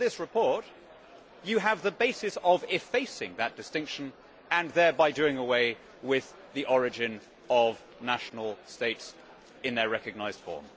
In this report you have the basis of effacing that distinction and thereby doing away with the origin of national states in their recognised form.